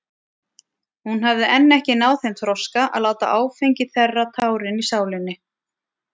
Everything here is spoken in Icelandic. Hún hafði enn ekki náð þeim þroska að láta áfengi þerra tárin í sálinni.